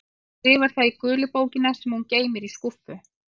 En hún skrifar það í gula bók sem hún geymir í skúffu.